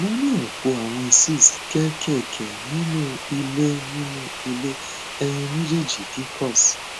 mo ní ọpọ àwọn cysts kéékèèké nínú ilé nínú ilé ẹyin méjèèjì pcos